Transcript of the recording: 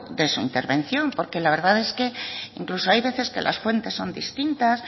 de su intervención porque la verdad es que incluso hay veces que las fuentes son distintas